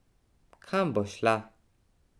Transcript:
Kam bo šla?